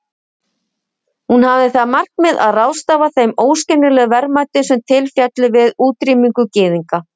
Hún hafði það markmið að ráðstafa þeim óskiljanlegu verðmætum sem til féllu við útrýmingu gyðinga.